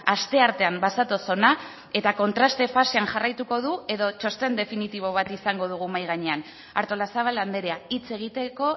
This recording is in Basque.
asteartean bazatoz hona eta kontraste fasean jarraituko du edo txosten definitibo bat izango dugu mahai gainean artolazabal andrea hitz egiteko